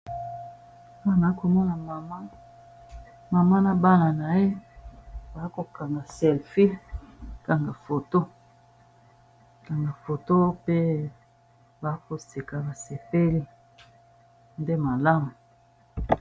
Wana komona mama mama na mbana na ye ba kokanga selfi kanga foto pe bakoseka basepeli nde malamu.